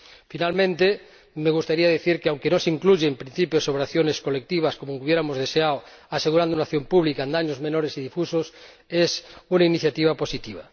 Por último, me gustaría decir que, aunque no se incluyen principios sobre acciones colectivas —como hubiéramos deseado— que aseguren una acción pública en daños menores y difusos, es una iniciativa positiva.